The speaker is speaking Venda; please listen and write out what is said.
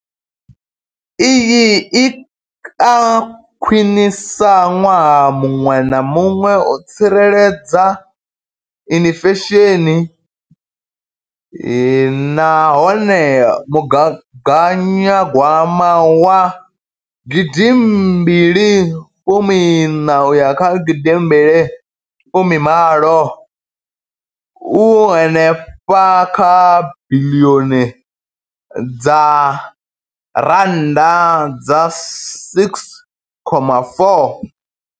Iyi i a khwiniswa ṅwaha muṅwe na muṅwe u tsireledza inflesheni nahone mugaganyagwama wa gidi mbili iṋa uya kha gidi mbili fumi malo u henefha kha biḽioni dza R6.4.